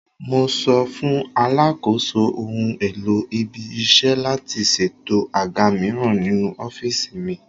Mo sọ fún Alakoso ohun-èlò ibi-iṣẹ́ láti ṣètò àga mìíràn ninú ọ́fíìsì mi.